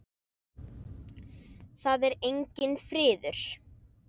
Það er enginn friður!